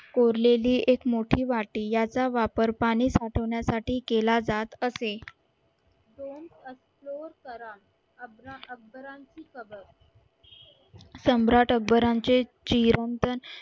कोरलेली एक मोठी वाटी याचा वापर पाणी साठवण्यासाठी केला जात असेल सम्राट अकबरांचे